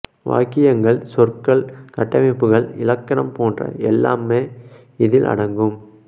வாக்கியங்கள் சொற்கள் கட்டமைப்புகள் இலக்கணம் போன்ற எல்லாமே இதில் அடங்கும்